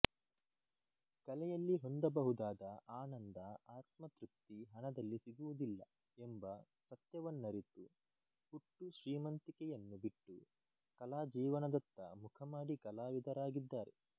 ಕಲೆಯಲ್ಲಿ ಹೊಂದಬಹುದಾದ ಆನಂದ ಆತ್ಮತೃಪ್ತಿ ಹಣದಲ್ಲಿ ಸಿಗುವುದಿಲ್ಲ ಎಂಬ ಸತ್ಯವನ್ನರಿತು ಹುಟ್ಟು ಶ್ರೀಮಂತಿಕೆಯನ್ನು ಬಿಟ್ಟು ಕಲಾಜೀವನದತ್ತ ಮುಖಮಾಡಿ ಕಲಾವಿದರಾಗಿದ್ದಾರೆ